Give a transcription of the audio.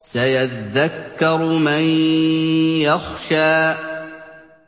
سَيَذَّكَّرُ مَن يَخْشَىٰ